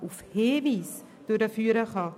Auf Hinweis hin, das ist das Wesentliche.